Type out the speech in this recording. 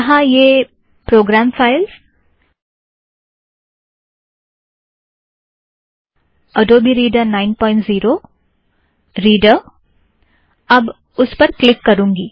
यहाँ यह प्रोग्राम filesअडोबे reader 90 reader program files Adobe reader 90 reader अब उस पर क्लिक करूँगी